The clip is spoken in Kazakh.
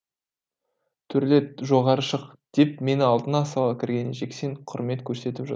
төрлет жоғары шық деп мені алдына сала кірген жексен құрмет көрсетіп жатыр